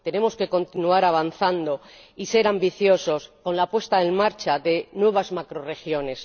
Tenemos que continuar avanzando y ser ambiciosos con la puesta en marcha de nuevas macrorregiones.